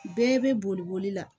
Bɛɛ bɛ boli boli la